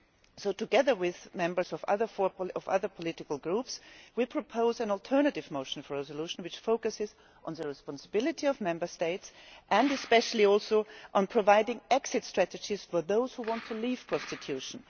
So together with members of other political groups, we propose an alternative motion for a resolution which focuses on the responsibility of Member States and especially also on providing exit strategies for those who want to leave prostitution.